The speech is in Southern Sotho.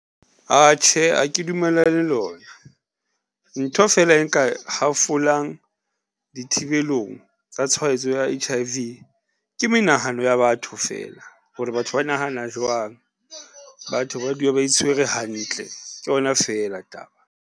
Atjhe, ha ke dumellane le yona, ntho fela e nka hafolang di thibelong tsa tshwaetso ya H_I_V ke menahano ya batho feela hore batho ba nahana jwang. Batho ba dula ba itshwere hantle, ke yona feela taba.